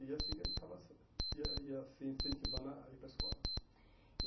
E assim que a gente estava ia ia se incentivando a ir para a escola. E